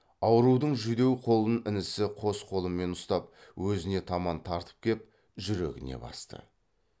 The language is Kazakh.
аурудың жүдеу қолын інісі қос қолымен ұстап өзіне таман тартып кеп жүрегіне басты